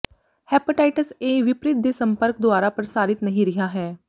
hepatitis A ਿਵਪਰੀਤ ਦੇ ਸੰਪਰਕ ਦੁਆਰਾ ਪ੍ਰਸਾਰਿਤ ਨਹੀ ਰਿਹਾ ਹੈ